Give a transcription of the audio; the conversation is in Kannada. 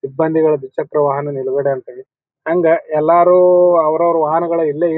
ಸಿಬ್ಬಂದಿಗಳ ದ್ವಿಚಕ್ರ ವಾಹನ ನಿಲುಗಡೆ ಅಂತೇಳಿ. ಹಂಗ ಎಲ್ಲರು ಅವ್ರ್ ಅವ್ರ್ ವಾಹನಗಳು ಇಲ್ಲೇ--